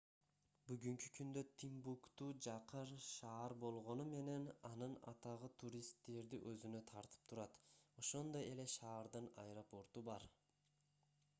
бүгүнкү күндө тимбукту жакыр шаар болгону менен анын атагы туристтерди өзүнө тартып турат ошондой эле шаардын аэропорту бар